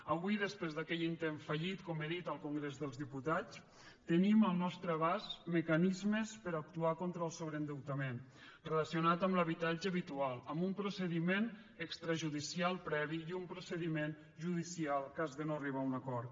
avui després d’aquell intent fallit com he dit al congrés dels diputats tenim al nostre abast mecanismes per a actuar contra el sobreendeutament relacionat amb l’habitatge habitual amb un procediment extrajudicial previ i un procediment judicial en cas de no arribar a un acord